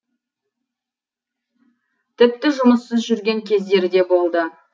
тіпті жұмыссыз жүрген кездері де болды